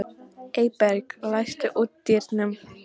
Eyberg, læstu útidyrunum.